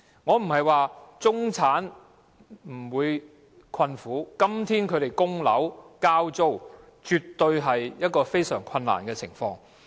我不是說中產沒有困苦，今天他們要供樓、交租，絕對是處於非常困難的情況。